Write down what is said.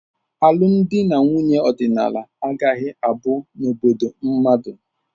Alụmdi na nwunye ọdịnala agaghị abu n'obodo mmadụ.